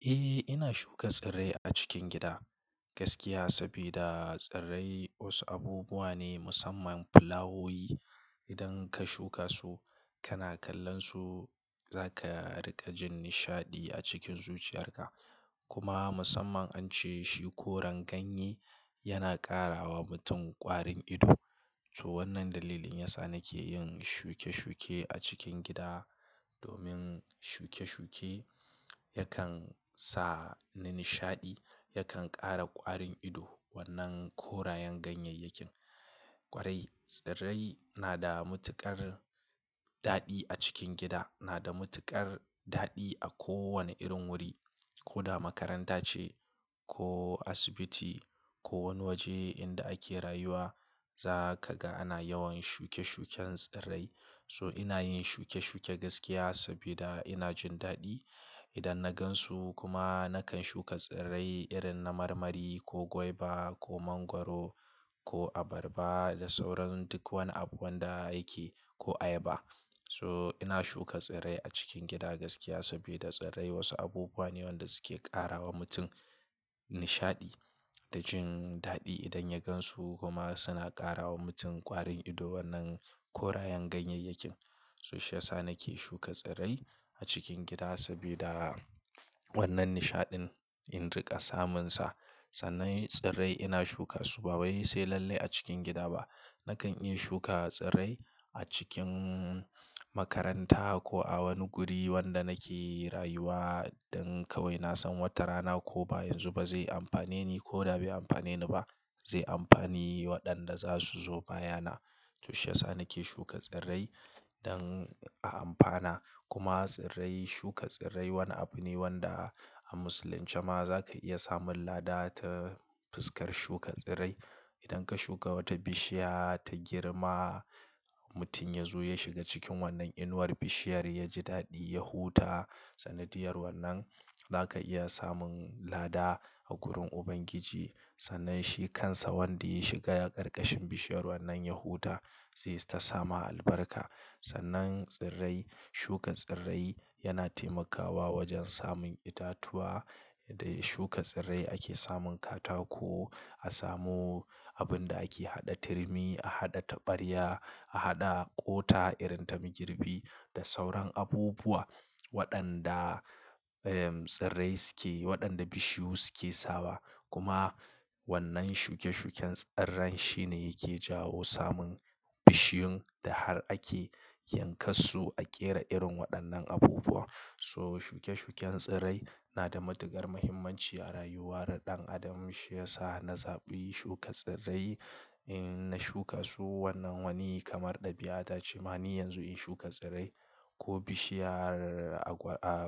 Eh, ina shuka tsirrai a cikin gida gaskiya, sabida tsirrai wasu abubuwa ne musamman fulawoyi. Idan ka shuka su, kana kallon su, za ka riƙa jin nishaɗi a cikin zuciyarka. Kuma musamman an ce shi koren ganye yana ƙara wa mutum ƙwarin ido. Toh wannan dalilin yasa nake yin shuke-shuke a cikin gida. Domin shuke-shuke yakan sa ni nishaɗi, yakan ƙara ƙwarin ido wannan korayen ganyayyakin. Kwarai, tsirrai na da matuƙar daɗi a cikin gida, na da matuƙar daɗi a kowane irin wuri. Ko da makaranta ce ko asibiti ko wani waje inda ake rayuwa, za ka ga ana yawan shuke-shuken tsirrai. So ina yin shuke-shuke gaskiya saboda ina jin daɗi idan na gan su. Kuma nakan shuka tsirrai irin na marmari ko guava ko mangwaro ko abarba da sauran duk wani abu wanda ake ko ayaba. So ina shuka tsirrai a cikin gida gaskiya saboda tsirrai wasu abubuwa ne wanda suke ƙara wa mutum nishaɗi da jin daɗi idan ya gan su. Kuma suna ƙara wa mutum ƙwarin ido wannan korayen ganyayyakin. So shiyasa nake shuka tsirrai a cikin gida sabida wannan nishaɗin in riƙa samun sa. Sannan tsirrai ina shuka su ba wai sai lallai a cikin gida ba. Nakan iya shuka tsirrai a cikin makaranta ko a wani guri wanda nake rayuwa. Don kawai na san wata rana ko ba yanzu ba zai amfane ni ko da bai amfane ni ba, zai amfani waɗanda za su zo baya na. To shiyasa nake shuka tsirrai don a amfana. Kuma tsirrai, shuka tsirrai wani abu ne wanda a musulunce ma za ka iya samun lada ta fuskar shuka tsirrai. Idan ka shuka wata bishiya ta girma, mutum ya zo ya shiga cikin wannan inuwar bishiyar ya ji daɗi, ya huta. Sanadiyar wannan za ka iya samun lada a wurin Ubangiji. Sannan shi kansa wanda ya shiga ya karkashin bishiyar wannan ya huta zai ta samu albarka. Sannan tsirrai, shuka tsirrai yana taimakawa wajen samun itatuwa. Dai shuka tsirrai ake samun katako. A samu abin da ake haɗa turmi, a haɗa taɓarya, a haɗa ƙota irin ta migirbi da sauran abubuwa waɗanda, ehm, tsirrai suke, waɗanda bishiyu suke sawa. Kuma wannan shuke-shuken tsirran shi ne yake jawo samun bishiyun da har ake yankan su a ƙera irin waɗannan abubuwa. So shuke-shuken tsirrai na da matuƙar muhimmanci a rayuwar ɗan adam. Shi ya sa na zaɓi shuka tsirrai. In na shuka su wannan wani kamar ɗabi'a ta cimani yanzu in shuka tsirrai ko bishiyar